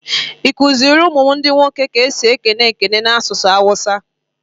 I kuziri ụmụ m ndi nwoke ka esi ekene ekele n'asụsụ awusa?